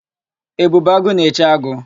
Ebube agụ na-eche agụ.